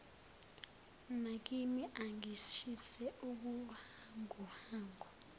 nakimi angishise ubuhanguhangu